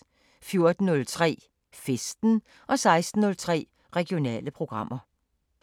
14:03: Festen 16:03: Regionale programmer